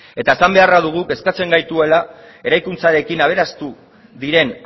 eta esan beharra dugu kezkatzen gaituela eraikuntzarekin aberastu diren